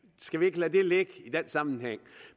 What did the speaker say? skal vi ikke lade det ligge i den sammenhæng